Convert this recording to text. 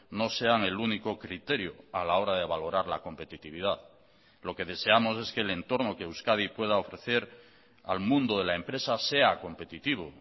no sean el único criterio a la hora de valorar la competitividad lo que deseamos es que el entorno que euskadi pueda ofrecer al mundo de la empresa sea competitivo